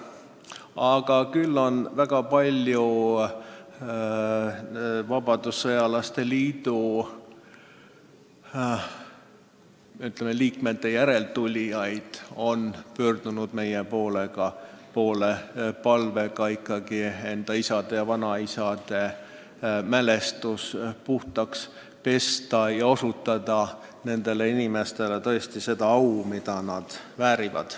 Aga väga palju vabadussõjalaste liidu liikmete järeltulijaid on pöördunud meie poole palvega isade ja vanaisade mälestus puhtaks pesta ning osutada nendele inimestele seda au, mida nad väärivad.